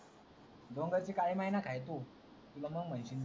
डोंगरची काली मैना खायचू तुला मंग म्हयती